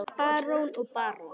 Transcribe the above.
Barón og barón